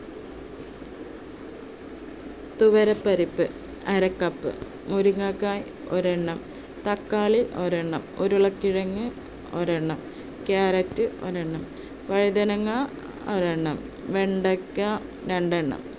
തുവരപ്പരിപ്പ് അര cup, മുരിങ്ങക്കായ ഒരെണ്ണം, തക്കാളി ഒരെണ്ണം, ഉരുളക്കിഴങ്ങ് ഒരെണ്ണം, carrot ഒരെണ്ണം, വഴുതനങ്ങ ഒരെണ്ണം, വെണ്ടയ്ക്ക രണ്ടെണ്ണം